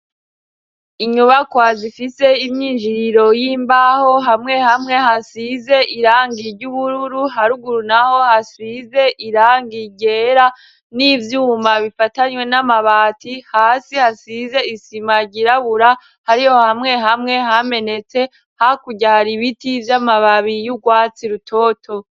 Inyubakwazifise imyinjiriro y'imbaho hamwe hamwe hasize irangirye ubururu haruguru, naho hasize irangirera n'ivyuma bifatanywe n'amabati hasi hasize isima ryirabura hari ho hamwe hamwe hamenetse hakuryara ibiti vyo ma babiyiyo urwatsi rutoto.